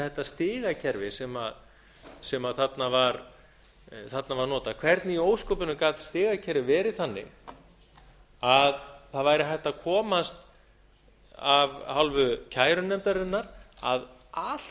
þetta stigakerfi sem þarna var notað hvernig í ósköpunum gat stigakerfið verið þannig að það væri hægt að komast af hálfu kærunefndarinnar að allt